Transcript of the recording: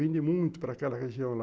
Vende muito para aquela região lá.